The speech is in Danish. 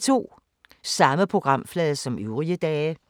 Samme programflade som øvrige dage